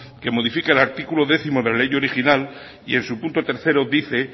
que modifica el artículo décimo de la ley original y en su punto tercero dice